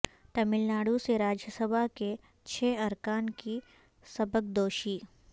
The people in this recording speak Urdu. ٹاملناڈو سے راجیہ سبھا کے چھ ارکان کی سبکدوشی